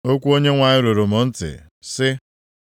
Okwu Onyenwe anyị ruru m ntị, sị,